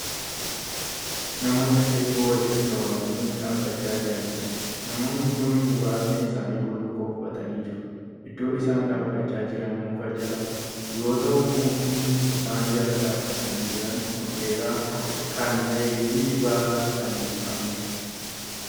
Namoota heedduu walitti qabamanii dhaabachaa Jiraniidha. namoonni Kuni muraasni isaanii bullukkoo uffatanii jiru. iddoon isaan dhaabachaa Jiran muka Jala yoo ta'u mukni isaan Jala dhaabatanii Jiran oldheeraa Kan ta'eefi baala Kan hin qabneedha.